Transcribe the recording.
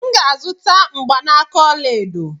M ga-azụta mgbanaka ọla edo.